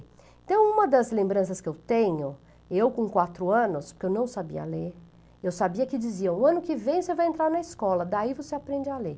Então, uma das lembranças que eu tenho, eu com quatro anos, porque eu não sabia ler, eu sabia que diziam, o ano que vem você vai entrar na escola, daí você aprende a ler.